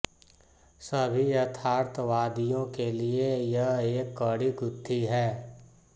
सभी यथार्थवादियों के लिए यह एक कड़ी गुत्थी है